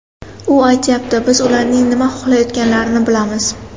U aytyapti: biz ularning nima xohlayotganlarini bilamiz.